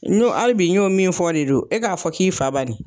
N'o hali bi n y'o min fɔ de don, e k'a fɔ k'i fa bani.